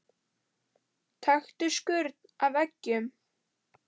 Taktu skurn af eggjum.